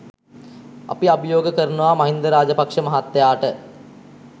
අපි අභියෝග කරනවා මහින්ද රාජපක්ෂ මහත්තයාට